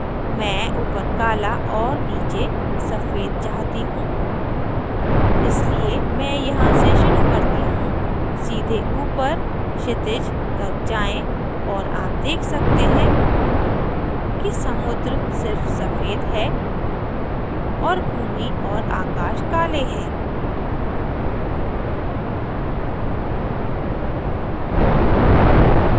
मैं ऊपर काला और नीचे सफ़ेद चाहती हूँ इसलिए मैं यहाँ से शुरू करती हूँ सीधे ऊपर क्षितिज तक जाएँ और आप देख सकते हैं कि समुद्र सिर्फ सफ़ेद है और भूमि और आकाश काले हैं